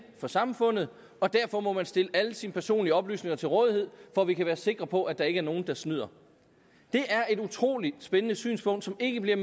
for samfundet og derfor må man stille alle sine personlige oplysninger til rådighed for at vi kan være sikre på at der ikke er nogen der snyder det er et utrolig spændende synspunkt som ikke bliver